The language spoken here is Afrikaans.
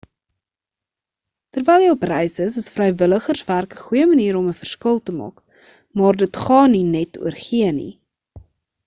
terwyl jy op reis is is vrywilligerswerk 'n goeie manier om 'n verskil te maak maar dit gaan nie net oor gee nie